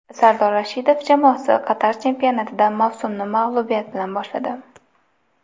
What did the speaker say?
Sardor Rashidov jamoasi Qatar chempionatida mavsumni mag‘lubiyat bilan boshladi.